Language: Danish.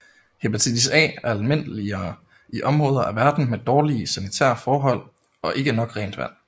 Hepatitis A er almindeligere i områder af verden med dårlige sanitære forhold og ikke nok rent vand